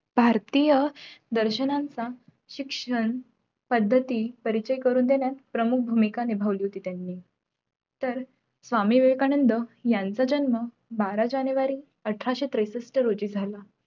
भारतीय दर्शनाच्या शिक्षण पद्धती परीचय करून द्यायला प्रमुख भूमिका निभावली होती त्यांनी तर स्वामी विवेकानंद यांचा जन्म बारा जानेवारी अठराशे त्रेसष्ठ रोजी झाला